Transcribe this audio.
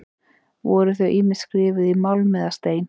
Voru þau ýmist skrifuð í málm eða stein.